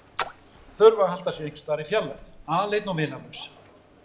Þurfa að halda sér einhversstaðar í fjarlægð, aleinn og vinalaus.